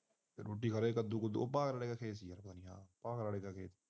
ਰੋਟੀ ਖਾ ਲੈ ਕੱਦੂ ਕੁਦੂ